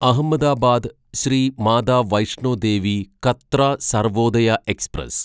Ahmedabad Shrimata Vaishno Devi Katra Sarvodaya express